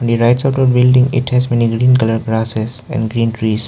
In the rights of the building it has many green colour grasses and green trees.